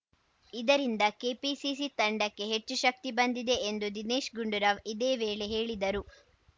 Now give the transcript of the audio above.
ಇದರಿಂದ ಕೆಪಿಸಿಸಿ ತಂಡಕ್ಕೆ ಹೆಚ್ಚು ಶಕ್ತಿ ಬಂದಿದೆ ಎಂದು ದಿನೇಶ್‌ ಗುಂಡೂರಾವ್‌ ಇದೇ ವೇಳೆ ಹೇಳಿದರು